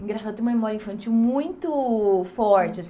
Engraçado eu tenho memória infantil muito forte.